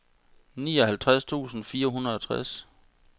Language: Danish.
nioghalvtreds tusind fire hundrede og tres